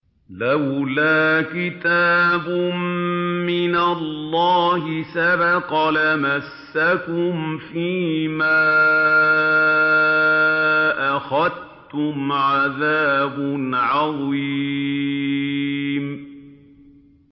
لَّوْلَا كِتَابٌ مِّنَ اللَّهِ سَبَقَ لَمَسَّكُمْ فِيمَا أَخَذْتُمْ عَذَابٌ عَظِيمٌ